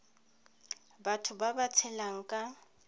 batho ba ba tshelang ka